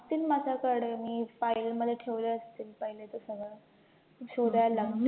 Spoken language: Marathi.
असतील माझ्याकडे मी file मध्ये ठेवले असतील पहिल्याचे सगळं, शोधायला लागतील